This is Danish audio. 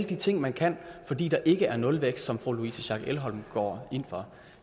de ting man kan fordi der ikke er nulvækst som fru louise schack elholm går ind for